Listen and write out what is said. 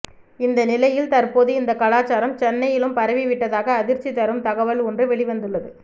இந்த நிலையில் தற்போது இந்த கலாச்சாரம் சென்னையிலும் பரவி விட்டதாக அதிர்ச்சி தரும் தகவல் ஒன்று வெளிவந்துள்ளது